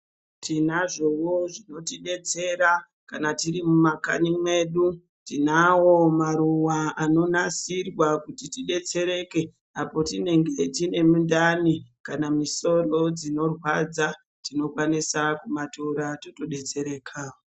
Tinazvoo zvinotidetsera kana tiri mumakanyi medu tinawo maruwa anonasirwa kuti tidetsereke apo tinge tine mundani kana musoro dzinorwadza tinokwanisa kumatora totodetsereka.